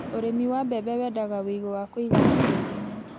Ũrĩmi wa mbembe wendaga wĩigũ wa kũigana tĩĩri-inĩ